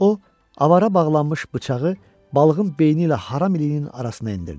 O, avara bağlanmış bıçağı balığın beyni ilə haram iliyinin arasına endirdi.